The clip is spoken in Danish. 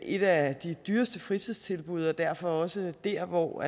et af de dyreste fritidstilbud og derfor også der hvor